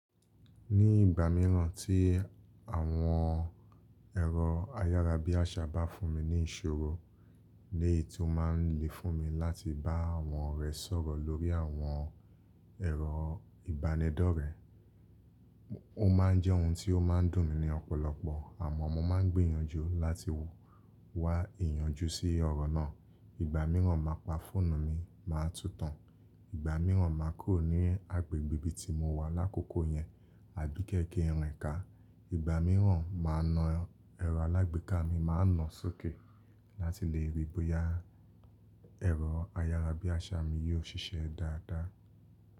Ní ìgbà míràn tí àwọn ẹ̀rọ ayárabíàṣá bá fún mi ní ìṣòro, ni èyí ti ó ma ń le fún mi láti bá àwọn orẹ̀ sọ̀rọ̀ lórí àwọn ẹ̀rọ ìbánidọ́rẹ̀. Ó ma ń jẹ́ ohun tí ó ma ń dùn mí ní ọ̀pọ̀lọpọ̀ àmọ́ mo ma ń gbìyànjú láti wá ìyànjú sí ọ̀rọ̀ náà. Ìgbà míràn má pa fóònù mi, má a túntàn. Ìgbà míràn ma kórè ní agbègbè ibi tí mo wà lákòókò yẹn àbí kẹ́kẹ́ rìnka. Ìgbà míràn ma na ẹ̀rọ alágbèéká mi ma na sókè láti lè rí bóyá ẹ̀rọ ayárabíàṣá mi yó ṣiṣẹ́ dáadáa.